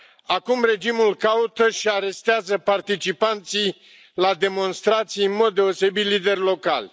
Acum regimul caută și arestează participanții la demonstrații, în mod deosebit lideri locali.